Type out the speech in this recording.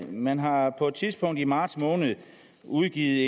man har på et tidspunkt i marts måned udgivet